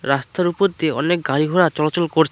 রাস্তার উপর দিয়ে অনেক গাড়িঘোড়া চলাচল করছে।